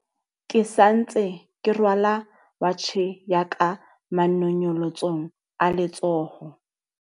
Ke sa ntse ke rwala watjhe ya ka manonyolotsong a letsoho.